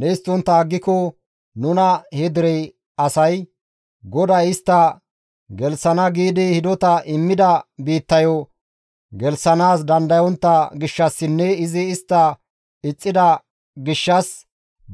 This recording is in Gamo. Ne histtontta aggiko nuna he dere asay, «GODAY istta gelththana giidi hidota immida biittayo gelththanaas dandayontta gishshassinne izi istta ixxida gishshas